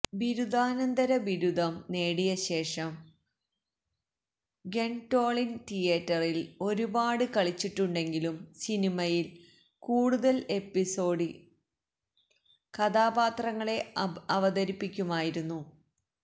ബിരുദാനന്തര ബിരുദം നേടിയശേഷം ഗ്വെൻടോളിൻ തിയേറ്ററിൽ ഒരുപാട് കളിച്ചിട്ടുണ്ടെങ്കിലും സിനിമയിൽ കൂടുതൽ എപ്പിസോഡിക്ക് കഥാപാത്രങ്ങളെ അവതരിപ്പിക്കുമായിരുന്നു